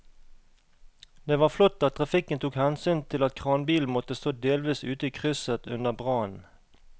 Det var flott at trafikken tok hensyn til at kranbilen måtte stå delvis ute i krysset under brannen.